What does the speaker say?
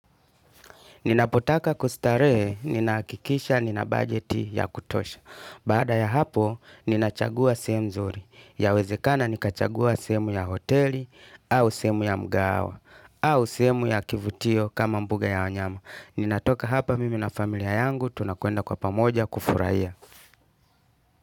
Ninapotaka kustarehe, ninahakikisha, ninabudgeti ya kutosha. Baada ya hapo, ninachagua sehemu nzuri. Yawezekana nikachagua sehemu ya hoteli, au sehemu ya mgahawa, au sehemu ya kivutio kama mbuga ya wanyama. Ninatoka hapa mimi na familia yangu, tunakwenda kwa pamoja kufurahia.